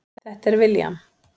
Þetta er William.